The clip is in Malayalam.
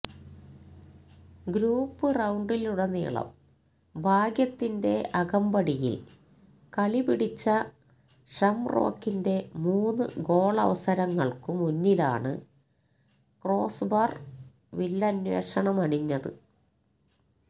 ഗ്രൂപ് റൌണ്ടിലുടനീളം ഭാഗ്യത്തിന്റെ അകമ്പടിയില് കളിപിടിച്ച ഷംറോക്കിന്റെ മൂന്ന് ഗോളവസരങ്ങള്ക്കു മുന്നിലാണ് ക്രോസ്ബാര് വില്ലന്വേഷമണിഞ്ഞത്